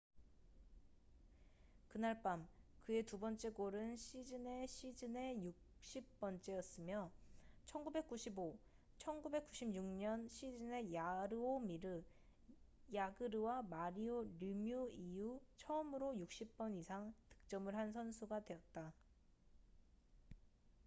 그날 밤 그의 두 번째 골은 시즌의 시즌의 60번째였으며 1995-1996년 시즌에 야르오미르 야그르와 마리오 르뮤 이후 처음으로 60번 이상 득점을 한 선수가 되었다